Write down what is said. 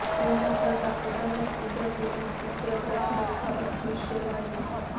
ઘરમાં ફરતાં પોતાનાં જ પુત્રપુત્રી ચિત્રપટ સરખાં અસ્પૃશ્ય લાગ્યાં